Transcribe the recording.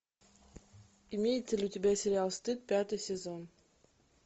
имеется ли у тебя сериал стыд пятый сезон